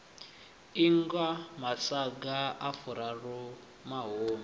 ingwa masaga a furaru mahumi